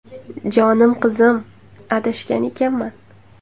Jonim qizim, adashgan ekanman.